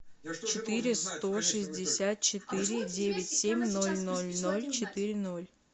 четыре сто шестьдесят четыре девять семь ноль ноль ноль четыре ноль